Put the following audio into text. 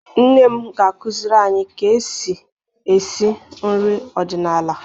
Nne m ga-akụziri anyị ka e si esi nri ọdịnala.